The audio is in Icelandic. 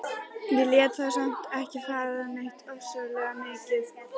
Ég lét þá samt ekki fá neitt ofsalega mikið.